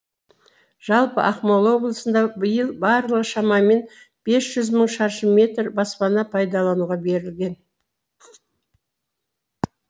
жалпы ақмола облысында биыл барлығы шамамен бес жүз мың шаршы метр баспана пайдалануға берілген